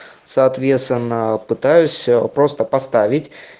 соответственно пытаюсь просто поставить